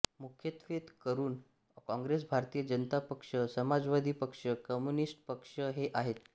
मु्ख्य़त्वे करुन काॅग्रेेस भारतीय जनता पक्ष समाजवादी पक्ष कम्युनिस्ट पक्ष हे आहेेत